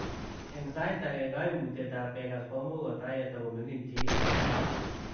Eng sait agee kaimutiet ap kekas komuuch kotai yetogomining chii anan